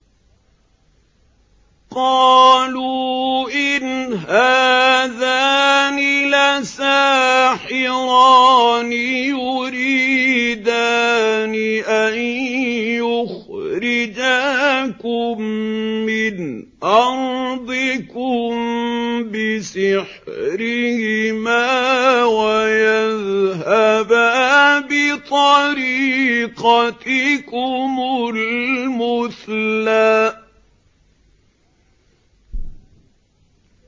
قَالُوا إِنْ هَٰذَانِ لَسَاحِرَانِ يُرِيدَانِ أَن يُخْرِجَاكُم مِّنْ أَرْضِكُم بِسِحْرِهِمَا وَيَذْهَبَا بِطَرِيقَتِكُمُ الْمُثْلَىٰ